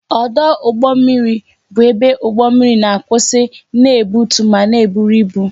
Ọdụ ụgbọ mmiri bụ ebe ụgbọ mmiri na-akwụsị na-ebutu ma na-eburu ibu